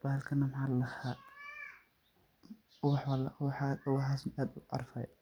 bahalkana maxaa ladhaha ubax, ubaxaas aad u carfay